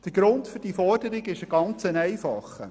Der Grund für diese Forderung ist folgender: